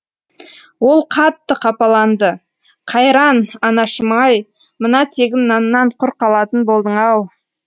ол қатты қапаланды қайран анашым ай мына тегін наннан құр қалатын болдың ау